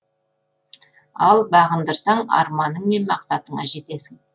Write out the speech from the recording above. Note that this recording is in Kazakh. ал бағындырсаң арманың мен мақсатыңа жетесің